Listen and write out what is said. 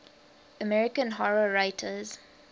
american horror writers